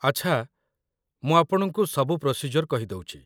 ଆଚ୍ଛା, ମୁଁ ଆପଣଙ୍କୁ ସବୁ ପ୍ରୋସିଜ୍ୟୋର୍ କହିଦେଉଚି ।